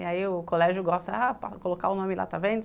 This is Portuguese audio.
E aí o colégio gosta ah colocar o nome lá, está vendo?